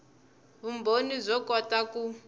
vumbhoni byo kota ku